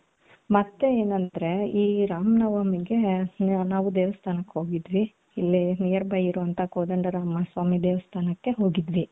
ಮತ್ತೆ ಏನು ಅಂದ್ರೆ ಇಲ್ಲಿ ರಾಮನವಮಿಗೆ ಎಲ್ಲಾರು ದೇವಸ್ಥಾನಕ್ಕೆ ಹೋಗಿದ್ವಿ ಇಲ್ಲೇ nearby ಇರೋ ಅಂತ ಕೋದಂಡರಾಮಸ್ವಾಮಿ ದೇವಸ್ಥಾನಕ್ಕೆ ಹೋಗಿದ್ವಿ .